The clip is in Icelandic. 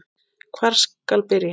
Hvar skal byrja.